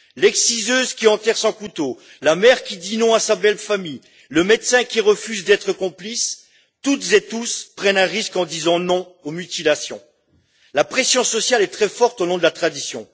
L'exciseuse qui enterre son couteau, la mère qui dit non à sa belle famille, le médecin qui refuse d'être complice toutes et tous prennent un risque en disant non aux mutilations. La pression sociale est très forte au nom de la tradition.